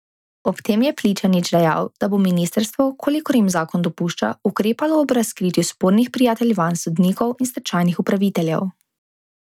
Ob tem je Pličanič dejal, da bo ministrstvo, kolikor jim zakon dopušča, ukrepalo ob razkritju spornih prijateljevanj sodnikov in stečajnih upraviteljev.